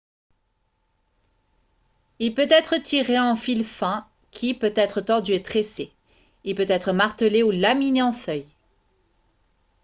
il peut être tiré en fil fin qui peut être tordu et tressé il peut être martelé ou laminé en feuilles